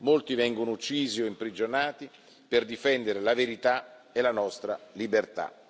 Molti vengono uccisi o imprigionati per difendere la verità e la nostra libertà.